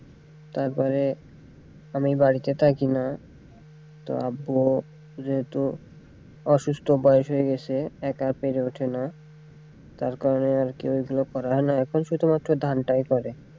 তারপরে আমি বাড়িতে থাকিনা তো আব্বু যেহেতু অসুস্থ বয়েস হয়ে গেছে একা পেরে ওঠেনা তার কারনে আরকি ওইগুলো করা হয়ে ওঠেনা এখন শুধুমাত্র ধানটাই করে।